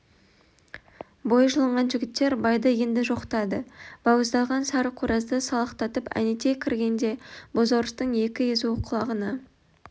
бойы жылынған жігіттер байды енді жоқтады бауыздалған сары қоразды салақтатып әнетай кіргенде бозорыстың екі езуі кұлағына